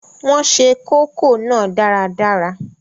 Wọn se kókò náà dáradára